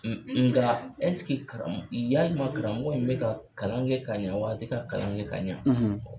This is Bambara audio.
nka karamɔgɔ yalima karamɔgɔ in bɛ ka kalan kɛ ka ɲɛ wa, a ti ka kalan kɛ ka ɲa ?